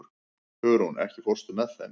Hugrún, ekki fórstu með þeim?